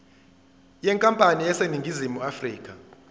yenkampani eseningizimu afrika